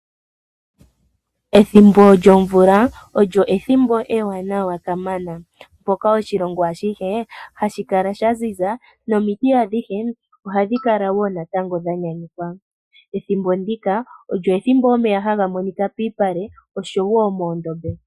Ethimbo lyomvula olyo ethimbo ewanawa kamana. Mpoka oshilongo ashihe hashi kala sha ziza, nomiti adhihe ohadhi kala wo natango dha nyanyukwa. Ethimbo ndika olyo ethimbo omeya haga monika piipale oshowo moondombe.